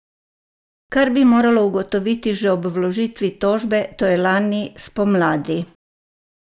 Kar bi moralo ugotoviti že ob vložitvi tožbe, to je lani spomladi!